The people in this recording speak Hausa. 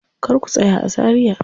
Kar ku tsaya a Zaria.